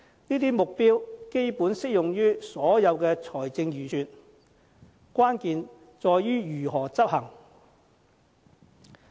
這些目標基本適用於所有財政預算，關鍵在於如何執行。